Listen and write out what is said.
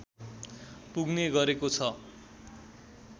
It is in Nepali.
पुग्ने गरेको छ